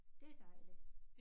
Det dejligt